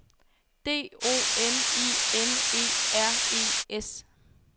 D O M I N E R E S